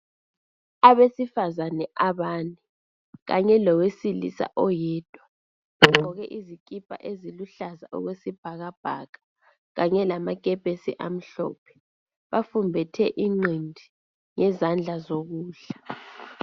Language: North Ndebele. Abesifazane abane kanye lowesilisa oyedwa bagqoke izikipa eziluhlaza okwesibhakabhaka kanye lamakepesi amhlophe, bafumbethe inqindi ngezandla zokudla.